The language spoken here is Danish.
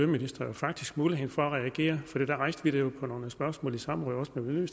ministeren faktisk mulighed for at reagere for der rejste vi det jo med nogle spørgsmål i samråd også med